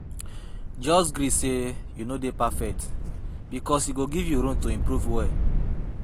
Jus gree sey yu no dey perfect bikos e go giv yu room to improve well